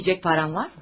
Yemək yeyəcək pulun var?